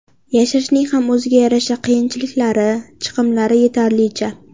Yashashning ham o‘ziga yarasha qiyinchiliklari, chiqimlari yetarlicha.